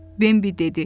Bembi dedi.